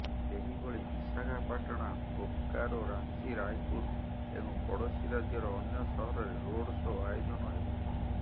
ସେହିଭଳି ବିଶାଖାପାଟଣା ବୋକାରୋ ରାଞ୍ଚି ରାୟପୁର ଏବଂ ପଡୋଶୀ ରାଜ୍ୟର ଅନ୍ୟ ସହରରେ ରୋଡ୍ ସୋ ଆୟୋଜନ ହେବ